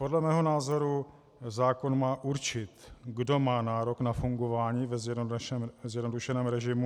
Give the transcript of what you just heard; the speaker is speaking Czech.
Podle mého názoru zákon má určit, kdo má nárok na fungování ve zjednodušeném režimu.